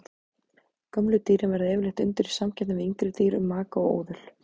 Gömlu dýrin verða yfirleitt undir í samkeppni við yngri dýr um maka og óðul.